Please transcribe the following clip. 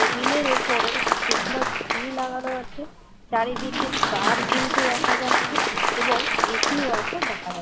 Table এর ওপরে একটি ক্রিসমাস ট্রি লাগানো আছে। চারিদিকে ষ্টার ঝুলছে দেখা যাচ্ছে। এবং এ.সি. -ও আছে দেখা যাচ্ছে।